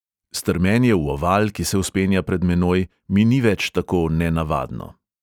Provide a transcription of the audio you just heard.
Strmenje v oval, ki se vzpenja pred menoj, mi ni več tako nenavadno.